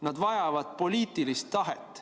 Nad vajavad poliitilist tahet.